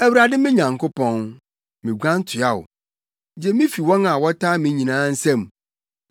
Awurade me Nyankopɔn, miguan toa wo; Gye me fi wɔn a wɔtaa me nyinaa nsam,